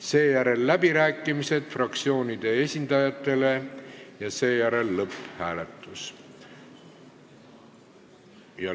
Seejärel on läbirääkimised fraktsioonide esindajatele ja lõpphääletus.